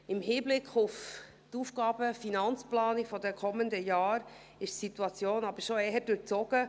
Im Hinblick auf die AFP der kommenden Jahre ist die Situation jedoch schon eher durchzogen.